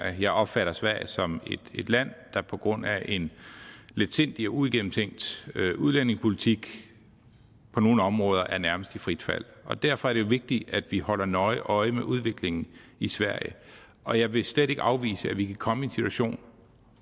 jeg opfatter sverige som et land der på grund af en letsindig og uigennemtænkt udlændingepolitik på nogle områder nærmest er i frit fald derfor er det jo vigtigt at vi holder nøje øje med udviklingen i sverige og jeg vil slet ikke afvise at vi kan komme i en situation